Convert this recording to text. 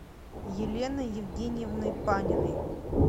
еленой евгеньевной паниной